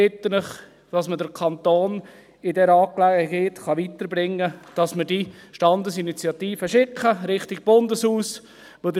Ich bitte Sie, damit man den Kanton in dieser Angelegenheit voranbringen kann und diese Standesinitiative in Richtung Bundeshaus schicken kann.